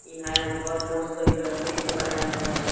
इहा एगो घर मस्त हे लकड़ी के बनाए हैं।